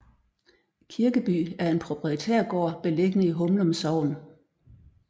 Kirkeby er en proprietærgård beliggende i Humlum Sogn